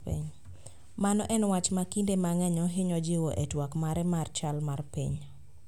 Mano en wach ma kinde mang'eny ohinyo jiwo e twak mare mar chal mar piny